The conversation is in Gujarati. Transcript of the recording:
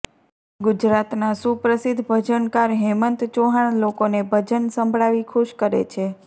ગુજરાતના સુપ્રસિદ્ધ ભજનકાર હેમંત ચૌહાણ લોકોને ભજન સંભળાવી ખુશ કરે છે